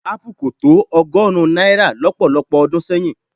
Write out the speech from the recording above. Ápù kò tó ọgọ́rùn-ún náírà lọ́pọ̀lọpọ̀ ọdún sẹ́yìn.